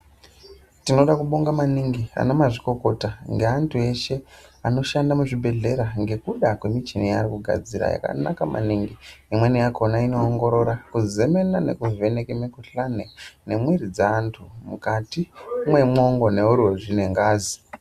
Tinoda kubonga maningi ana mazvikokota nge antu eshe ano shanda mu zvibhedhlera ngekuda kwe muchini ya ari kugadzire yakanaka maningi imweni yakona ino ongorora ku zemena neku vheneka mu kuhlani ne mwiri dze antu mukati mwe mwongo ne uruzvi ne ngazi.